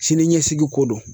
Sini ɲɛsigiko do.